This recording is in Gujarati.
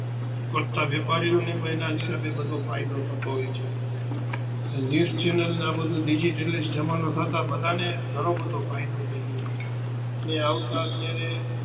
કરતાં વેપારી નો પણ એના હિસાબે ફાયદો થતો હોય છે news channel ને આ બધુ digitalist જમાનો થતાં બધા ને ઘણો બધો ફાયદો થતો હોય છે.